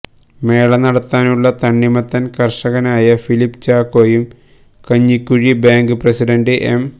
മേള നടത്താനുള്ള തണ്ണിമത്തൻ കർഷകനായ ഫിലിപ്പ് ചാക്കോയും കഞ്ഞിക്കുഴി ബാങ്ക് പ്രസിഡന്റ് എം